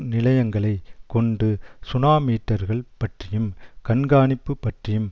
நிலையங்களைக் கொண்டு சுனாமீட்டர்கள் பற்றியும் கண்காணிப்பு பற்றியும்